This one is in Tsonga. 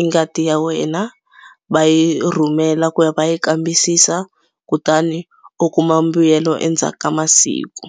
i ngati ya wena va yi rhumela ku ya va ya kambisisa kutani u kuma mbuyelo endzhaku ka masiku.